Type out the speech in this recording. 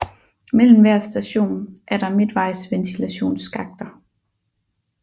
Mellem hver station er der midtvejsventilationsskakter